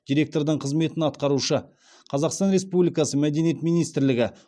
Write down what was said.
диреткордың қызметін атқарушы қазақстан республикасы мәдениет министрлігі